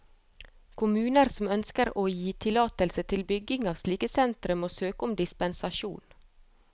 Kommuner som ønsker å gi tillatelse til bygging av slike sentre, må søke om dispensasjon.